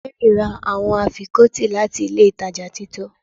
Mary ra awọn afikọti lati ilé ìtajà tito